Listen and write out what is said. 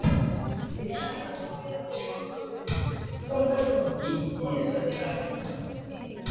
Jóhanna Margrét Gísladóttir: Þannig að þú ert ánægður með daginn?